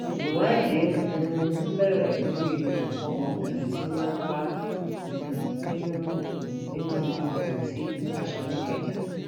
ìwádìí um bẹrẹ lórí òkú ọmọbìnrin tí wọn bá um nínú um nínú àpótí aṣọ nìkẹjà